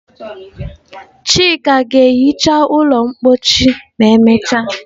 Chika ga-ehicha ụlọ mposi ma emechaa.